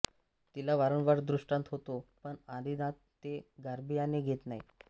तिला वारंवार दृष्टांत होतो पण आदिनाथ ते गांभीर्याने घेत नाही